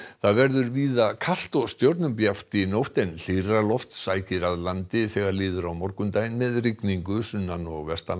það verður víða kalt og stjörnubjart í nótt en hlýrra loft sækir að landi þegar líður á morgundaginn með rigningu sunnan og